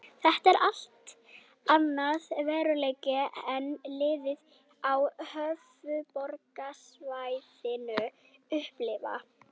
Þetta er allt annar veruleiki en liðin á höfuðborgarsvæðinu upplifa.